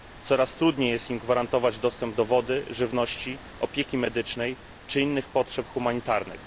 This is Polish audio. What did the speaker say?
Coraz trudniej jest im gwarantować dostęp do wody, żywności, opieki medycznej czy innych potrzeb humanitarnych.